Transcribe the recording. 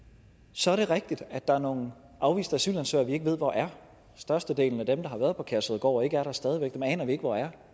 så er det rigtigt at der er nogle afviste asylansøgere vi ikke ved hvor er størstedelen af dem der har været på kærshovedgård og ikke er der stadig væk aner vi ikke hvor er